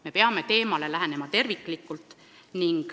Me peame teemale lähenema terviklikult.